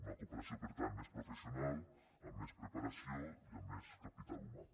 una cooperació per tant més professional amb més preparació i amb més capital humà